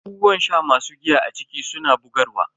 Abubuwan sha masu giya a ciki suna bugarwa.